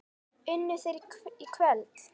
Unnu þeir í kvöld?